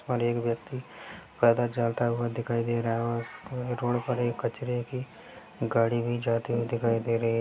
और एक व्यक्ति पैदल जाता हुआ दिखाई दे रहा है और उस क रोड पर एक कचरे की गाड़ी भी जाती हुई दिखाई दे रही है।